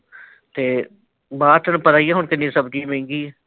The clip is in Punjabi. ਤੇ ਬਾਹਰ ਤੈਨੂੰ ਪਤਾ ਹੀ ਹੈ ਹੁਣ ਕਿੰਨੀ ਸਬਜੀ ਮਹਿੰਗੀ ਆ।